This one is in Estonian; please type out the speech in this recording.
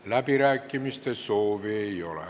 Läbirääkimiste soovi ei ole.